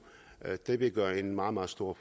det ville gøre en meget meget stor